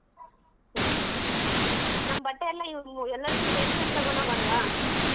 ಹ್ಮ್ ನಮ್ ಬಟ್ಟೆ ಎಲ್ಲಾ ಎಲ್ಲರ್ದು ಸೇರ್ಸ್ಕೊಂಡ್ ತಗೊಂಡ್ ಹೋಗೋನ್ವಾ?